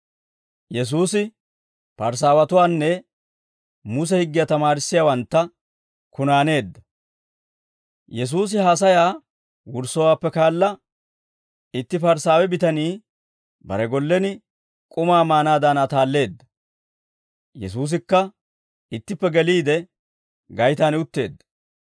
Yesuusi haasayaa wurssowaappe kaala, itti Parisaawe bitanii bare gollen k'umaa maanaadan ataalleedda; Yesuusikka ittippe geliide gaytaan utteedda.